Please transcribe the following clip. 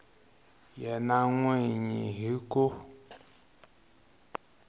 yena n wini hi ku